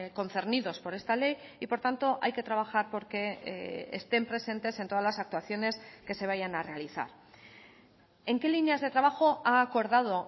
concernidos por esta ley y por tanto hay que trabajar porque estén presentes en todas las actuaciones que se vayan a realizar en qué líneas de trabajo ha acordado